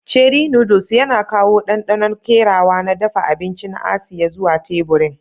Cherie noodles yana kawo ɗanɗanon kerawa na dafa abinci na Asiya zuwa teburin.